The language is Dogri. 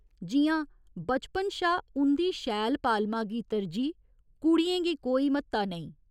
जि'यां बचपन शा उं'दी शैल पालमां गी तरजीह्, कुड़ियें गी कोई म्हत्ता नेईं।